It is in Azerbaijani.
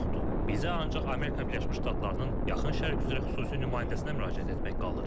Bizə ancaq Amerika Birləşmiş Ştatlarının yaxın Şərq üzrə xüsusi nümayəndəsinə müraciət etmək qalır.